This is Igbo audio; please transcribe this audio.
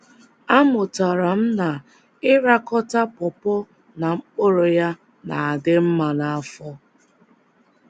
Amụtara m na ịrakọta pọpọ na mkpụrụ ya na - adị mma n’afọ.